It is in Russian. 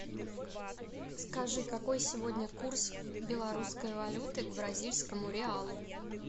скажи какой сегодня курс белорусской валюты к бразильскому реалу